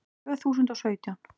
Tvö þúsund og sautján